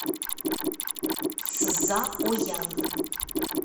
цзаоян